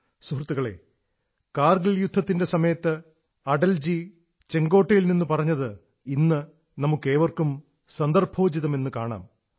സഹൃത്തുക്കളേ കാർഗിൽ യുദ്ധത്തിന്റെ സമയത്ത് അടൽജി ചുവപ്പു കോട്ടയിൽ നിന്ന് പറഞ്ഞത് ഇന്നും നമുക്കേവർക്കും സന്ദർഭോചിതമെന്നു കാണാം